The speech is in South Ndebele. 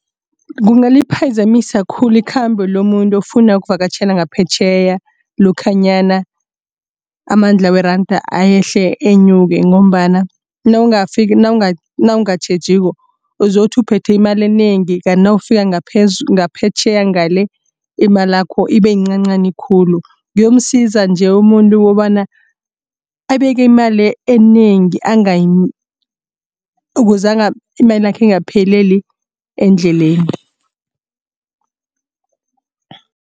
Kungaliphazamisa khulu ikhambo lomuntu ofuna ukuvakatjhela ngaphetjheya lokhanyana amandla weranda ayehle enyuke. Ngombana nawungatjhejiko uzokuthi uphethe imali enengi kanti nawufika ngaphetjheya ngale imalakho ibe iyincancani khulu. Kuyomsiza nje umuntu kobana abeke imali enengi angayi ukuze imalakhe ingapheleli endleleni.